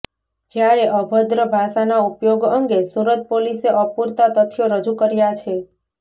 જ્યારે અભદ્ર ભાષાના ઉપયોગ અંગે સુરત પોલીસે અપુરતા તથ્યો રજૂ કર્યા છે